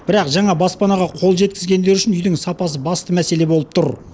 бірақ жаңа баспанаға қол жеткізгендер үшін үйдің сапасы басты мәселе болып тұр